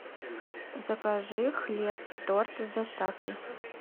закажи хлеб и торт с доставкой